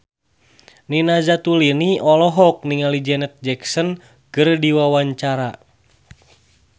Nina Zatulini olohok ningali Janet Jackson keur diwawancara